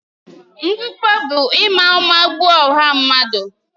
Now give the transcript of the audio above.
Mgbukpọ bụ ịma ụma gbuo ọha mmadụ.